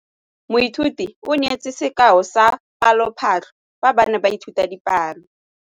Moithuti o neetse sekaô sa palophatlo fa ba ne ba ithuta dipalo.